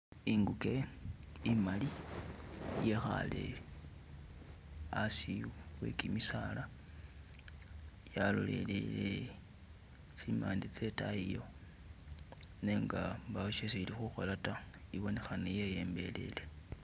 Inguge imali yekhale hasi we gimisaala yalolelele tsimande tsedayi yo nenga mbawo shesi ilikhukhola ta ibonekhana yeyembelele